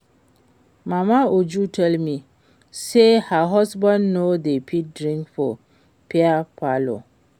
Mama Uju tell me say her husband no dey fit drink for beer parlor